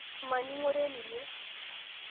Maning'ore ninye